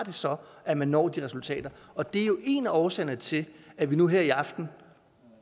det så har at man når de resultater og det er jo en af årsagerne til at vi nu her i aften